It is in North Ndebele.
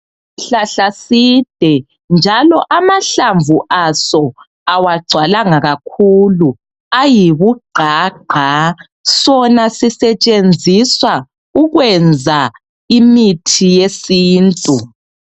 Isihlahla side njalo amahlamvu aso awagcwalanga kakhulu ayibugqa gqa sona sisetshenziswa ukwenza imithi yesintu.